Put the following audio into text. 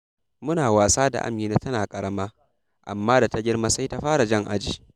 Muna wasa da Amina tana ƙarama, amma da ta girma sai ta fara jan aji.